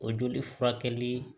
O joli furakɛli